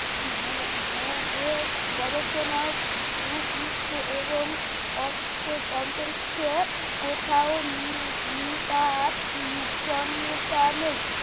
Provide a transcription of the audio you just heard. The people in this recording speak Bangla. গু গুবে গবেষণা ভূপৃষ্ঠ এবং অন্তরীক্ষে কোথাও নি নিপাত নির্জনতা নেই